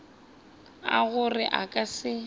a gore a ka se